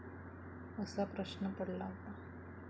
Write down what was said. असा प्रश्न पडला होता.